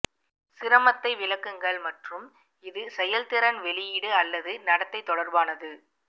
சிரமத்தை விளக்குங்கள் மற்றும் இது செயல்திறன் வெளியீடு அல்லது நடத்தை தொடர்பானது